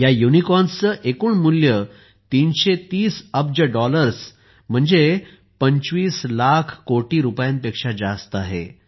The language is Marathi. या युनिकॉर्न्सचे एकूण मूल्य 330 अब्ज डॉलर्सपेक्षा म्हणजे 25 लाख कोटी रुपयांपेक्षा जास्त आहे